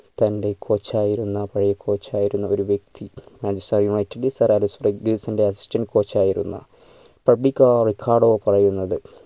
തൻ്റെ coach ആയിരുന്ന പഴയ coach ആയിരുന്ന ഒരു വ്യക്തി manchester united ൽ ന്റെ assistantcoach ആയിരുന്ന പറയുന്നത്